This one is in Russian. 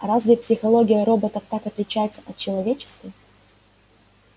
а разве психология роботов так отличается от человеческой